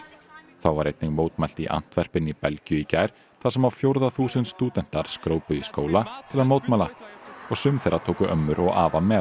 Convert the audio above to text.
þá var einnig mótmælt í í Belgíu í gær þar sem á fjórða þúsund stúdentar í skóla til að mótmæla og sum þeirra tóku ömmur og afa með